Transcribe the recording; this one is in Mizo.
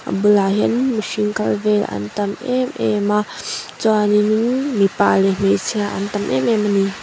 a bulah hian mihring kal vel an tam emem a chuanin mipa leh hmeichhia an tam em em a ni.